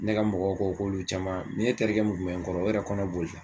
Ne ka mɔgɔw ko k'olu caman ne terikɛ mun kun bɛ n kɔrɔ o yɛrɛ kɔnɔ boli la.